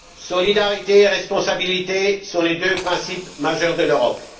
Solidarité et responsabilité sont les deux principes majeurs de l'Europe.